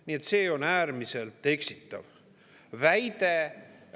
Nii et see on äärmiselt eksitav väide.